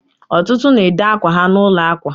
ọtụtụ na-ede akwa ha n'ụlọ akwa